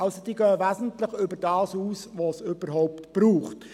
Es wird also wesentlich über das hinausgegangen, was es überhaupt braucht.